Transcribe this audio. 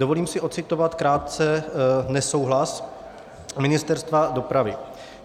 Dovolím si ocitovat krátce nesouhlas Ministerstva dopravy.